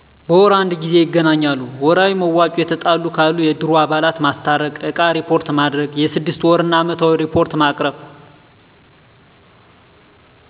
በወር አንድ ጊዜ ይገናኛሉ። ወርሀዊ መዋጮ የተጣሉ ካሉ የእድሩ አባላት ማስታረቅ እቃ እሪፖርት ማድረግ የስድስት ወር እና አመታዊ እሪፖርት ማቅረብ።